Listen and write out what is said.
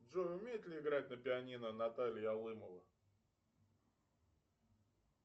джой умеет ли играть на пианино наталья алымова